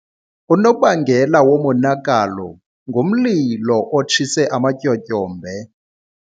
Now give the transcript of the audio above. Unobangela womonakalo ngumlilo otshise amatyotyombe.